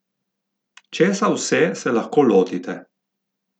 Česa vse se lahko lotite?